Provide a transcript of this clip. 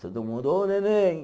Todo mundo, ô, neném!